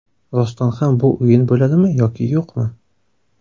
Rostdan ham bu o‘yin bo‘ladimi yoki yo‘qmi?